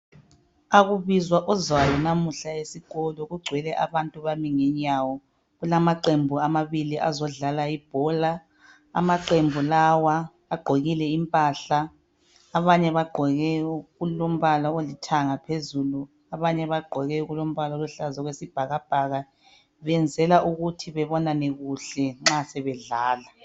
akukubizwa ozwayo namuhla esikolo kugcwele abantu bami ngenyawo kulamaqembu amabili azodlala ibhola amaqembu agqokile impahla abanye bagqoke okulombala olithanga phezulu abanye bagqoke okulombala oluhlaza okwesibhakabhaka benzela ukuthi bebonane kuhle nxa sebedlala